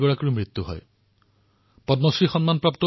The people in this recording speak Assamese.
সুলাগিট্টী নৰসম্মাই গৰ্ভৱতী মাতৃসকলৰ প্ৰসৱত সহায় কৰিছিল